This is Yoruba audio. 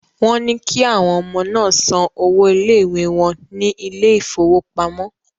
Wọ́n ní kí àwọn ọmọ náà san owó ilé-ìwé wọn ní ilé ìfowópamọ́.